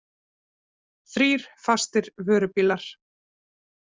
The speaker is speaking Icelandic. Þrír fastir vörubílar